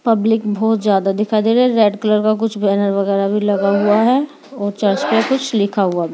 Public बहुत ज्यादा दिखाई दे रही है रेड कलर का कुछ बैनर वगैरा भी लगा हुआ है और चर्च पे कुछ लिखा भी है।